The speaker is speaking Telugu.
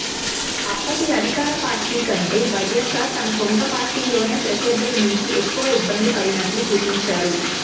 అప్పటి అధికార పార్టీ కంటే వైఎస్సార్ తన సొంత పార్టీలోని ప్రత్యర్థుల నుంచే ఎక్కువ ఇబ్బందిపడినట్లు చూపించారు